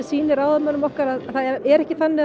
sýni ráðamönnum okkar að það er ekki þannig